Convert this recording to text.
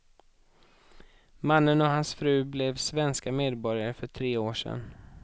Mannen och hans fru blev svenska medborgare för tre år sedan.